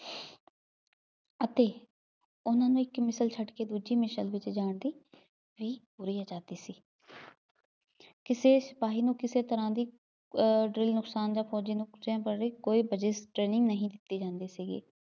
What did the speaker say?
ਅਤੇ ਉਹਨਾ ਨੂੰ ਇੱਕ ਮਿਸਲ ਛੱਡ ਕੇ ਦੂਜੀ ਮਿਸਲ ਵਿੱਚ ਜਾਣ ਦੀ ਪੂਰੀ ਆਜਾਦੀ ਹੁੰਦੀ ਸੀ ਕਿਸੇ ਸਿਪਾਹੀ ਨੂੰ ਕਿਸੇ ਤਰ੍ਹਾ ਦੀ ਅਹ ਕੋਈ ਵਰਜਿਸ training ਨਹੀਂ ਦਿੱਤੀ ਜਾਂਦੀ ਸੀਗੀ।